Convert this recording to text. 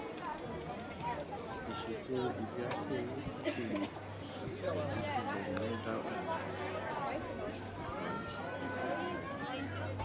ìṣètò ibiafẹ owó tó péye àti pẹlú jùlọ máa ń dá ọnà àfihàn tó ṣokùnfa iṣẹgun àníyàn ilé